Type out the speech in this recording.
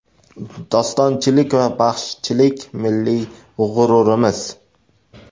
Dostonchilik va baxshichilik milliy g‘ururimiz.